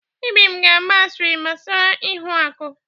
Ibim ga agba asịrị gbasara ihuaku.